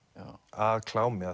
að klámi